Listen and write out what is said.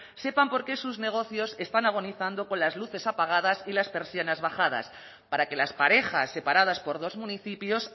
sepan porqué sus negocios están agonizando con las luces apagadas y las persianas bajadas para que las parejas separadas por dos municipios